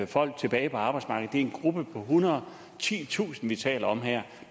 folk tilbage på arbejdsmarkedet er en gruppe på ethundrede og titusind vi taler om her